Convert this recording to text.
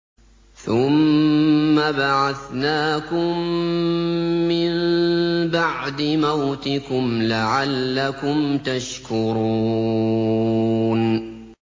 ثُمَّ بَعَثْنَاكُم مِّن بَعْدِ مَوْتِكُمْ لَعَلَّكُمْ تَشْكُرُونَ